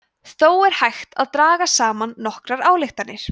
þó er hægt að draga saman nokkrar ályktanir